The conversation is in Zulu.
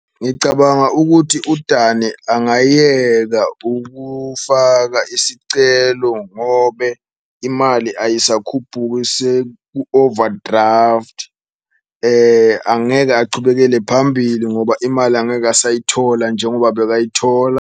Ngicabanga ukuthi uDane angayekela ukufaka isicelo ngobe imali ayisakhuphuki seku-overdraft, angeke achubekele phambili ngoba imali angeke asayithola njengoba bekayithola.